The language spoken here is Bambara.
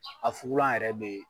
A fugulan yɛrɛ bɛ ye.